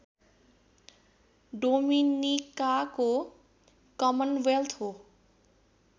डोमिनिकाको commonwealth हो